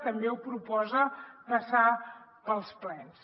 també proposa passar ho pels plens